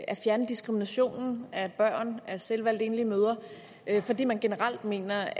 at fjerne diskriminationen af børn af selvvalgte enlige mødre fordi man generelt mener